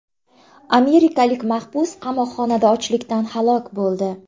Amerikalik mahbus qamoqxonada ochlikdan halok bo‘ldi.